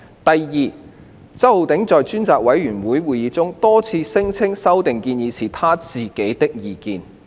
第二，周議員在專責委員會會議上，多次聲稱有關的修訂建議是他自己的意見。